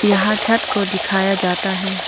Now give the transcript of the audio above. यहां छत को दिखाया जाता है।